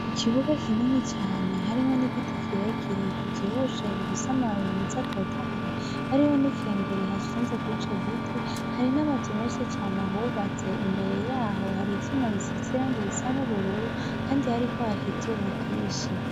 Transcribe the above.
Ikibuga kinini cane harimwo n’igiti kirekire kivyibushe gifise amababi meza atotahaye, hariho n’ikengeri ihashinze kurico giti, hari n’amazu menshi cane ahubatse imbere yaho hari ivyuma bisize irangi risa n’ubururu kandi hariko haka izuba ryinshi.